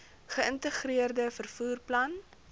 geïntegreerde vervoer plan